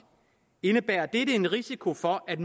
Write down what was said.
indebærer dette en risiko for at